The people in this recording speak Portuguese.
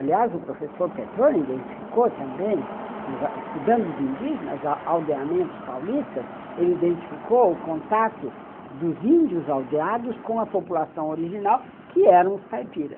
Aliás, o professor Petrone identificou também, estudando os indígenas, aldeamentos paulistas, ele identificou o contato dos índios aldeados com a população original, que eram os caipiras.